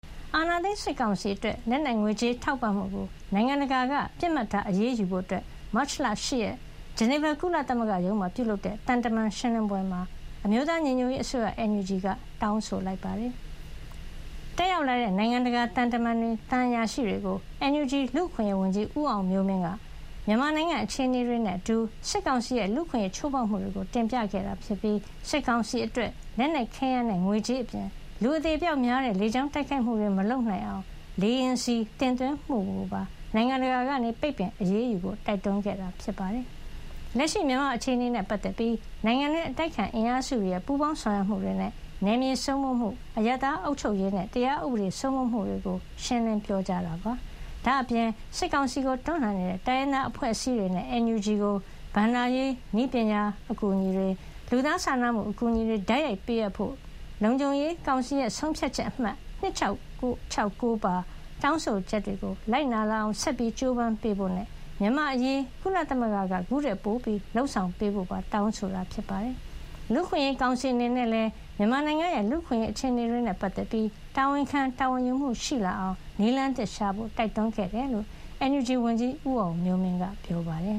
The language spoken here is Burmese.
အာဏာသိမ်း စစ်ကောင်စီအတွက် လက်နက်ငွေကြေးထောက်ပံ့မှုကို နိုင်ငံတကာက ပစ်မှတ်ထား အရေးယူဖို့ မတ်လ ၈ ရက် ဂျနီဗာ ကုလသမဂ္ဂ ရုံးမှာ ပြုလုပ်တဲ့ သံတမန်ရှင်းလင်းပွဲမှာ အမျိုးသားညီညွတ်ရေး အစိုးရ NUG က တောင်းဆိုလိုက်ပါတယ်။ တက်ရောက်လာတဲ့ နိုင်ငံတကာသံတမန်တွေ သံအရာရှိတွေကို NUG လူ့အခွင့်ရေးဝန်ကြီး ဦးအောင်မျိုးမင်းက မြန်မာနိုင်ငံအခြေနေတွေနဲ့ အတူ စစ်ကောင်စီရဲ့ လူ့အခွင့်ရေးချိုးဖေါက်မှုတွေကို တင်ပြခဲ့ပြီး စစ်ကောင်စီအတွက် လက်နက်ခဲယမ်းနဲ့ ငွေကြေး အပြင် လူအသေအပျောက်များတဲ့ လေကြောင်းတိုက်ခိုက်မှုတွေမလုပ်နိုင်အောင် လေယာဉ်ဆီတင်သွင်းမှုကိုပါ နိုင်ငံတကာက ပိတ်ပင် အရေးယူဖို့ တိုက်တွန်း ခဲ့တာပါ။ လက်ရှိမြန်မာ့ အခြေနေနဲ့ ပတ်သက်ပြီး နိုင်ငံတွင်းအတိုက်အခံအင်အားစုတွေရဲ့ ပူးပေါင်းဆောင်ရွက်မှုတွေနဲ့ နယ်မြေစိုးမိုးမှု၊ အရပ်သားအုပ်ချုပ်ရေးနဲ့ တရားဥပဒေစိုးမိုးမှုတွေကို ရှင်းလင်း ပြောကြားခဲ့ပါတယ်။ ဒါ့အပြင် စစ်ကောင်စီကိုတွန်းလှန်နေတဲ့ တိုင်းရင်းသား အဖွဲ့အစည်းတွေနဲ့ NUG ကို ဘဏ္ဍာရေး၊ နည်းပညာ အကူညီတွေ၊ လူသားစာနာမှု အကူညီတွေ တိုက်ရိုက်ပေးအပ်ဖို့၊ လုံခြုံရေးကောင်စီဆုံးဖြတ်ချက်အမှတ် (၂၆၆၉) ပါ တောင်းဆိုချက်တွေကို လိုက်နာလာအောင် ဆက်ကြိုးပမ်းပေးဖို့ နဲ့ မြန်မာ့အရေး ကုလသမဂ္ဂက ခုထက်ပိုလုပ်ဆောင်ပေးဖို့ပါ တောင်းဆိုခဲ့တာပါ။ လူ့အခွင့်အရေး ကောင်စီအနေနဲ့လည်း မြန်မာနိုင်ရဲ့ လူ့အခွင့်အရေး အခြေအနေတွေနဲ့ ပတ်သက်ပြီး တာဝန်ခံ တာဝန်ယူမှု ရှိလာအောင် နည်းလမ်းသစ်ရှာဖို့ တိုက်တွန်းခဲ့တယ်လို့ NUG ဝန်ကြီး ဦးအောင်မျိုးမင်းက ပြောပါတယ်